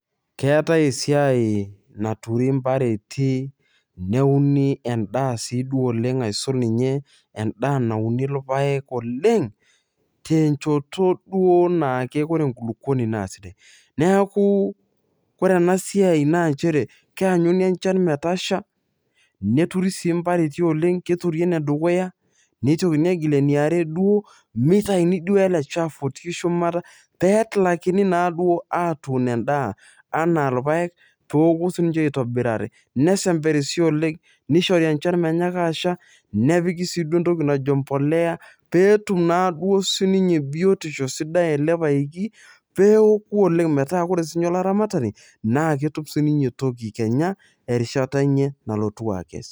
Keetai esiai naturi mbareti neuni endaa si duo oleng aisul ninye endaa nauni irpaek oleng tenchoto duo ore enkulukuoni na sidai neaku ore enasiai na nchere keanyu enchanmetasha neturi sii mpareti oleng, keturi enedukuya neitokini atur eniare duo meitauni duo eleshafu otii shumata petumokini naduo atuun endaa anaa irpaek peoku sinche aitobiraki ,neishori enchan neitoki asha, nepiki si entoki najo embolea petum naduo sinye biotisho sidai ele paeki peoku oleng metaa ore duo sinye olaramatani na ketum kenya sinye toki kenya erishata enye nalotu akes.